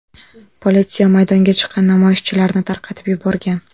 Politsiya maydonga chiqqan namoyishchilarni tarqatib yuborgan.